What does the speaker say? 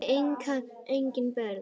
Þau eiga engin börn.